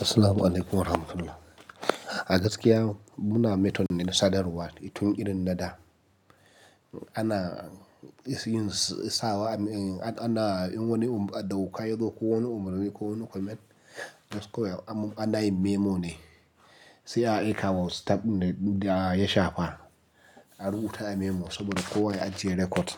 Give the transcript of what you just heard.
Assalamualaikum warahmatullah. A gaskiya muna metone sadarwa itun irin na da. Ana, ana, ana, in wani abu a ɗauka yanzu ko wani umarni ko wani comment, ana yin memo ne. Sai a aika wa staff din da ya shafa. An rubuta a memo saboda kowa ya ajiye record.